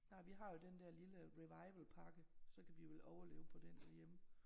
Nej vi har jo den dér lille revival pakke så kan vi vel overleve på den derhjemme